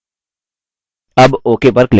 अब ok पर click करें